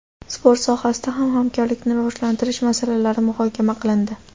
Sport sohasida ham hamkorlikni rivojlantirish masalalari muhokama qilindi.